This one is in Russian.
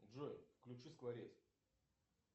джой включи скворец